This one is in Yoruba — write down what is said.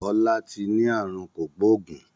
Ọlá tí ni àrùn kògbógùn